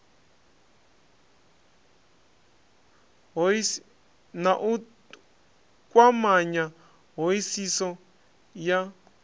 na u kwamanya hoisiso ya